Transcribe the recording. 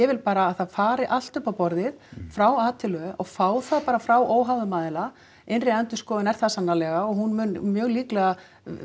vil bara að það fari allt upp á borðið frá a til ö og fá það bara frá óháðum aðila innri endurskoðun er það sannarlega og hún mun mjög líklega